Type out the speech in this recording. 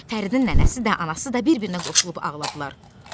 Fəridin nənəsi də, anası da bir-birinə qoşulub ağladılar.